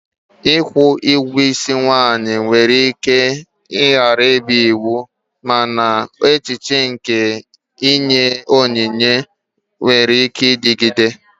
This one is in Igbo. Ikwu ugwo isi nwanyi nwere ike ghara ịbụ iwu, mana echiche nke inye onyinye nwere ike ịdịgide.